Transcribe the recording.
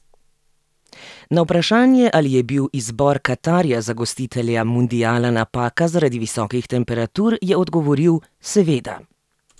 Na vprašanje, ali je bil izbor Katarja za gostitelja mundiala napaka zaradi visokih temperatur, je odgovoril: "Seveda.